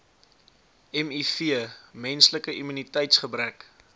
miv menslike immuniteitsgebrek